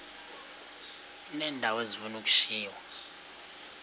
uneendawo ezifuna ukushiywa